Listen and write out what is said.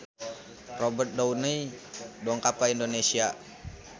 Robert Downey dongkap ka Indonesia